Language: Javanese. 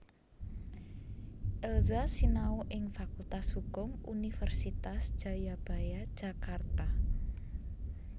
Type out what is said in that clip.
Elza sinau ing Fakultas Hukum Universitas Jayabaya Jakarta